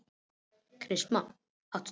Kristmar, áttu tyggjó?